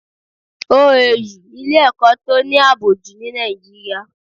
OAU ilè ẹ̀kọ́ to ní àbò jù ní Nigeria